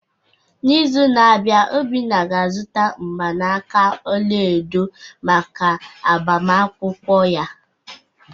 N’izu na-abịa, Obinna ga-azụta mgbanaka ọla edo maka agbamakwụkwọ ya